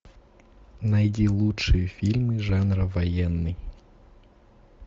найди лучшие фильмы жанра военный